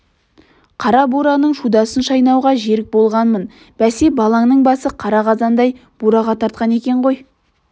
қара бураның шудасын шайнауға жерік болғанмын бәсе балаңның басы қара қазандай бураға тартқан екен ғой